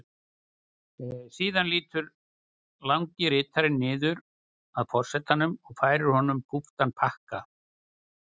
Síðan lýtur langi ritarinn niður að forsetanum og færir honum kúptan pakka.